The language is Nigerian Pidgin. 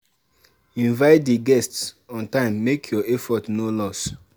Invite di guests on time make your effort no loss